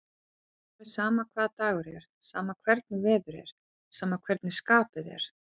Alveg sama hvaða dagur er, sama hvernig veður er, sama hvernig skapið er.